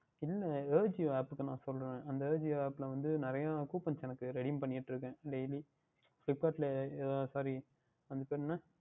இல்லை Ajio app க்கு நான் சொல்லுகின்றேன் அந்த Ajio app ல வந்து நிறைய Coupon எனக்கு redim பண்ணிக்கொண்டு இருக்கின்றது Daily உம் Flipkart ல Sorry அதற்கு பெயர் என்ன